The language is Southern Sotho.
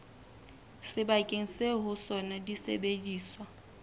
sebakeng seo ho sona disebediswa